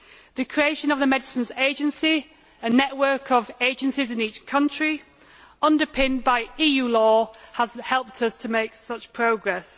The creation of the Medicines Agency, a network of agencies in each country, underpinned by EU law, has helped us to make such progress.